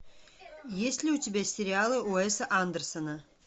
есть ли у тебя сериалы уэса андерсона